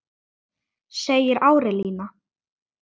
segir Árelía.